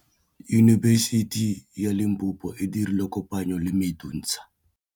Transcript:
Yunibesiti ya Limpopo e dirile kopanyô le MEDUNSA.